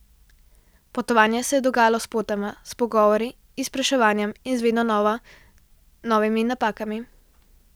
Potovanje se je dogajalo spotoma, s pogovori, izpraševanjem in z vedno znova novimi napakami.